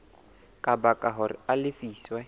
ka baka hore a lefiswe